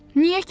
Niyə ki?